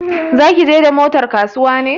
Za ki je da motar kasuwa ne?